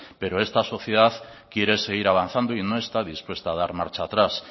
pero esta sociedad quiere seguir avanzando y no está dispuesta a dar marcha atrás